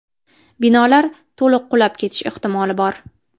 Binolar to‘liq qulab ketishi ehtimoli bor.